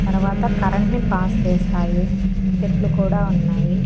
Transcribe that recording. తరవాత కరెంట్ ని పాస్ చేస్తాయి చెట్లు కూడా ఉన్నాయి.